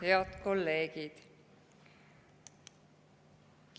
Head kolleegid!